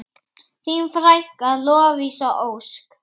Þín frænka, Lovísa Ósk.